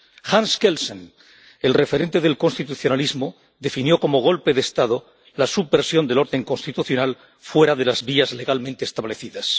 Hans Kensel, el referente del constitucionalismo, definió como golpe de Estado la subversión del orden constitucional fuera de las vías legalmente establecidas.